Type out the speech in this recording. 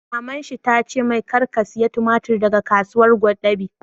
Maman shi ta ce mai 'Kar ka saya tumatir daga Kasuwar Gwadabe'!